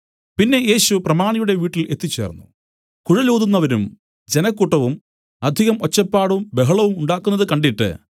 പിന്നെ യേശു പ്രമാണിയുടെ വീട്ടിൽ എത്തിച്ചേർന്നു കുഴലൂതുന്നവരും ജനക്കൂട്ടവും അധികം ഒച്ചപ്പാടും ബഹളവും ഉണ്ടാക്കുന്നത് കണ്ടിട്ട്